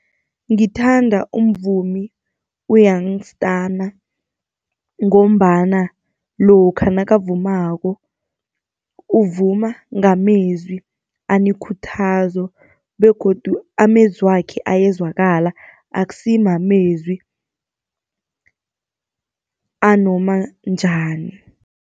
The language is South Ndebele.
Ngithanda umvumi u-Young Stunna, ngombana lokha nakavumako uvuma ngamezwi anekuthazo begodu amezwakhe ayezwakala, akusi mamezwi anoma njani.